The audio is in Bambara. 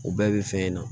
O bɛɛ bɛ fɛn in na